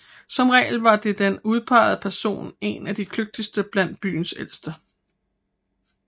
Som regel var den udpegede person en af de kløgtigste blandt byens ældste